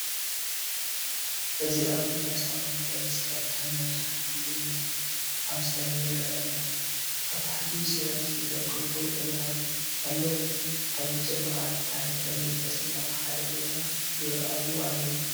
እዚ ኣብ እምባ ዝተቐመጠ መስቀል ከም መብራህቲ እምነት ኣብ ሰማይ ይረአ ኣሎ። ኣብ ታሕቲ ብሰላም ዝተዘርግሑ ኣግራብ ኣለው። ኣብ ንጹር መዓልቲ ታሪኽን መንፈስን ኣብ ሓደ ቦታ ይራኣዩ ኣለው።